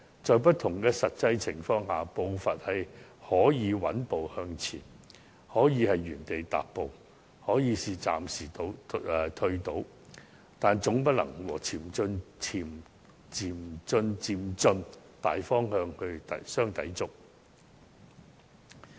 在不同的實際情況下，步伐可以是穩步向前，可以是原地踏步，也可以是暫時倒退，但總不能和循序漸進的大方向相抵觸。